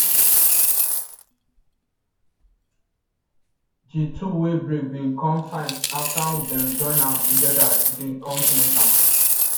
the tool wey break bin come fine after them join am together again come paint am